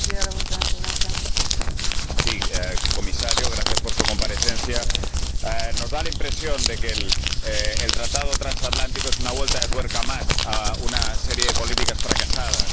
Señora Presidenta, señor Comisario, gracias por su comparecencia. Nos da la impresión de que el Tratado Transatlántico es una vuelta de tuerca más a una serie de políticas fracasadas.